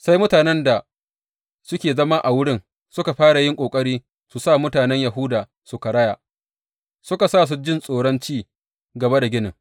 Sai mutanen da suke zama a wurin suka fara yin ƙoƙari su sa mutanen Yahuda su karaya, suka sa su ji tsoron ci gaba da ginin.